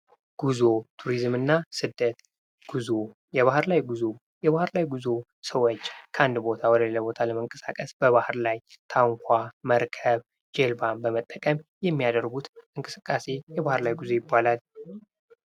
ጉዞ ቱሪዝም እና ስደት የባህር ላይ ጉዞ የባህር ላይ ጉዞ ሰዎች ከአንድ ቦታ ወደ ለላ ቦታ ለመንቀሳቀስ ሰዎች በባህር ላይ ታንኳ፣ መርከብ፣ ጀልባ በመጠቀም የሚያደርጉት እንቅስቃሴ የባር ላይ ጉዞ ይባላል።